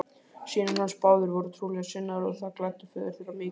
Synir hans báðir voru trúarlega sinnaðir og það gladdi föður þeirra mikið.